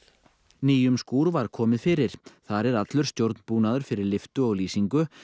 nýjum skúr var komið fyrir þar er allur stjórnbúnaður fyrir lyftu og lýsingu